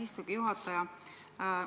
Aitäh, lugupeetud ettekandja!